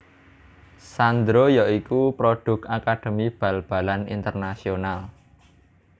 Sandro ya iku produk akademi bal balan Internacional